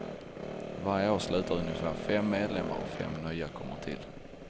Varje år slutar ungefär fem medlemmar och fem nya kommer till.